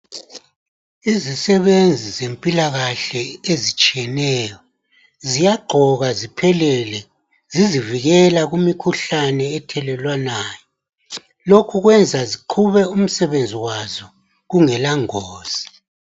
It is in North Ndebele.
Izisebenzi zempilakahle ezitshiyeneyo ziyagqoka ziphelele, zizivikela kumikhuhlane ethelelwanayo. Lokhu kwenza ziqhube umsebenzi wazo kungelangozi.